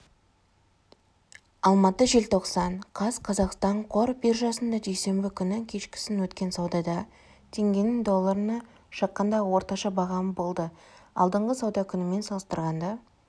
алматы желтоқсан қаз қазақстан қор биржасында дүйсенбі күні кешкісін өткен саудада теңгенің долларына шаққандағы орташа бағамы болды алдыңғы сауда күнімен салыстырғанда